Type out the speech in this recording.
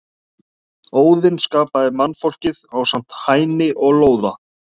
Óðinn skapaði mannfólkið ásamt Hæni og Lóða.